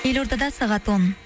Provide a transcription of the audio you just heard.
елорда да сағат он